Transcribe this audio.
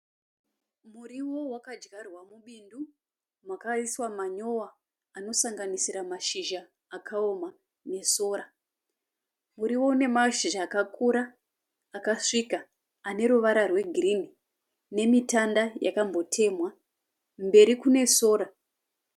Muriwo wakadyarwa mubindu makaiswa manyowa anosanganisira mashizha akaoma nesora. Muriwo une mashizha akakura akasvika aneruva rwegirinhi nemitanda wakambotenhwa. Mberi kune sora.